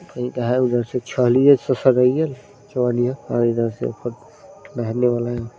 और इधर से ऊपर बेहेने वाला है।